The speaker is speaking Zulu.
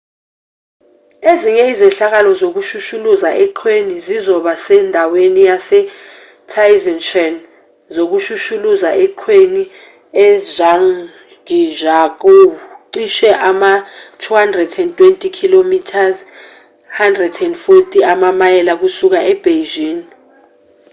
ezinye izehlakalo zokushushuluza eqhweni zizoba sendaweni yase-taizicheng yokushushuluza eqhweni e-zhangjiakou cishe ama-220 km 140 amamayela kusuka ebeijing